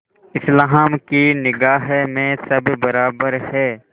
इस्लाम की निगाह में सब बराबर हैं